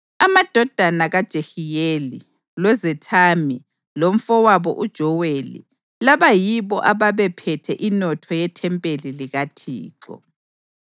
amadodana kaJehiyeli, loZethami lomfowabo uJoweli. Laba yibo ababephethe inotho yethempeli likaThixo.